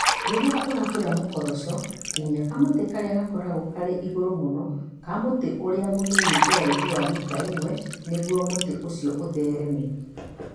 Rĩrĩa ũrabũra mūkoroco, tinia kamũtĩ karĩa gakoragwo karĩ igũrũ mũno ka mũtĩ ũrĩa mũnini ũraihu wa mita 1 nĩguo mũtĩ ũcio ũthereme